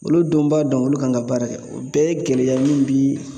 Olu dun b'a dɔn olu kan ka baara kɛ. O bɛɛ ye gɛlɛya min bi